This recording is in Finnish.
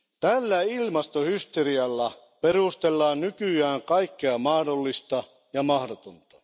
Tällä ilmastohysterialla perustellaan nykyään kaikkea mahdollista ja mahdotonta.